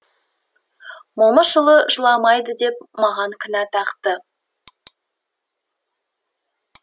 момышұлы жыламайды деп маған кінә тақты